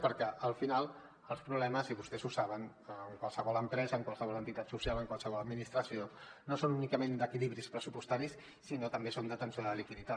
perquè al final els problemes i vostès ho saben en qualsevol empresa en qualsevol entitat social en qualsevol administració no són únicament d’equilibris pressupostaris sinó que també són d’atenció de la liquiditat